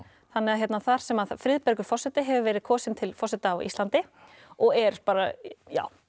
þannig að þar sem forseti hefur verið kosinn til forseta á Íslandi og er bara